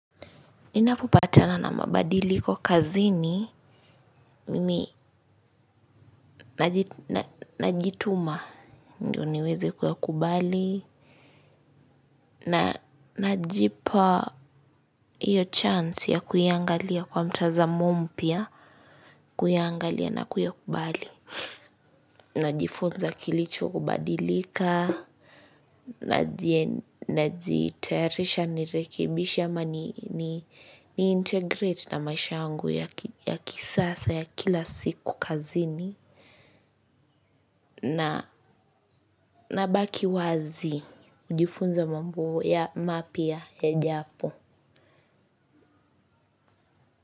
Ninapopatana na mabadiliko kazini, mimi najituma ndiyo niweze kuyakubali na najipa hiyo chance ya kuiangalia kwa mtazamo mpya, kuiangalia na kuyakubali. Najifunza kilicho kubadilika, najitayarisha nirekebishe ama ni integrate na maisha yangu ya kisasa ya kila siku kazini na nabaki wazi kujifunza mambo mapya yajapo.